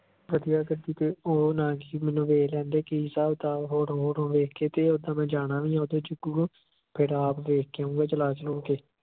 ਵਧੀਆਂ ਗੱਡੀ ਤੇ ਓਹ ਨਾ ਕਿ ਮੈਨੂੰ ਦੇਖ ਲੈਣ ਦੇ ਕਿ ਹਿਸਾਬ ਕਿਤਾਬ photo ਫੂਟੋ ਵੇਖ ਕੇ ਤੇ ਉਦਾ ਮੈਂ ਜਾਣਾ ਵੀ ਆ ਜੱਗੂ ਕੋਲ ਫਿਰ ਆਪ ਵੇਖ ਕੇ ਆਊਂਗਾ ਚਲਾ ਚੁਲਾ ਕੇ ।